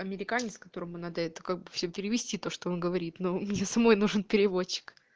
американец которому надо это как бы всё перевести то что он говорит но мне самой нужен переводчик